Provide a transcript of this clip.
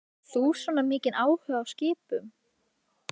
Hefur þú svona mikinn áhuga á skipum?